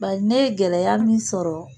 Bari ne ye gɛlɛya min sɔrɔ